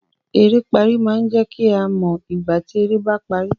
"Eré pari" máa jẹ kí a mọ ìgbà tí eré ba parí.